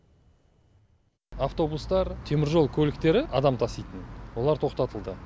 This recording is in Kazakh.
автобустар теміржол көліктері адам таситын олар тоқтатылды